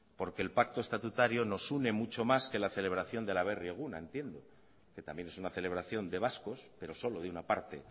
porque el pacto estatutario nos une mucho más que la celebración del aberri eguna entiendo que también es una celebración de vascos pero solo de una parte